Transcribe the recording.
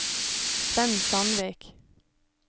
Svend Sandvik